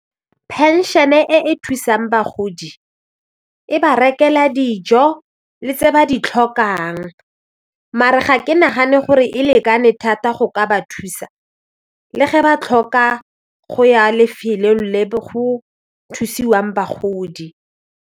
Phenšene e e thusang bagodi e ba rekela dijo le tse ba di tlhokang maar-e ga ke nagane gore e lekane thata go ka ba thusa le ge ba tlhoka go ya lefelong le go thusiwang bagodi.